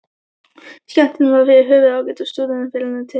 Skemmtunin var yfir höfuð ágæt og Stúdentafélaginu til heiðurs.